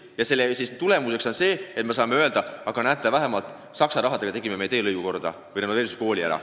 Ja tagajärg on see, et me saame öelda: näete, Saksa rahaga tegime selle teelõigu korda või renoveerisime ühe kooli ära.